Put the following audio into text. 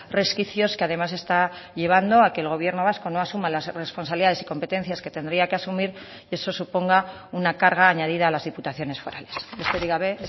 resquicios que además está llevando a que el gobierno vasco no asuma las responsabilidades y competencias que tendría que asumir y eso suponga una carga añadida a las diputaciones forales besterik gabe